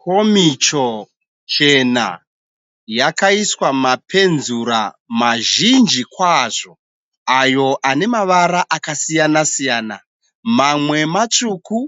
Komicho chena yakaiswa mapenzura mazhinji kwazvo ayo ane mavara akasiyana siyana. Mamwe matsvuku